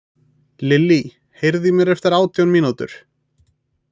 Lillí, heyrðu í mér eftir átján mínútur.